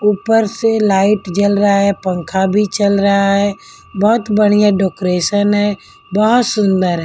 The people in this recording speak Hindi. ऊपर से लाइट जल रहा है पंखा भी चल रहा है बहुत बढ़िया डेकोरेशन है बहुत सुंदर है --